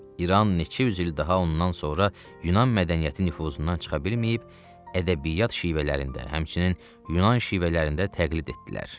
İran neçə yüz il daha ondan sonra Yunan mədəniyyəti nüfuzundan çıxa bilməyib ədəbiyyat şivələrində, həmçinin Yunan şivələrində təqlid etdilər.